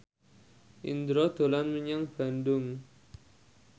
Indro dolan menyang Bandung